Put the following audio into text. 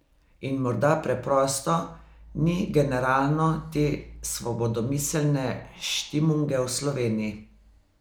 In morda preprosto ni generalno te svobodomiselne štimunge v Sloveniji.